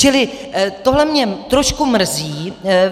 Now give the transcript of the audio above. Čili tohle mě trošku mrzí.